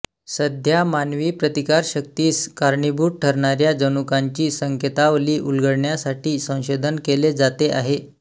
सध्या मानवी प्रतिकारशक्तीस कारणीभूत ठरणाऱ्या जनुकांची संकेतावली उलगडण्यासाठी संशोधन केले जाते आहे